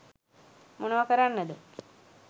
මොනව කරන්නද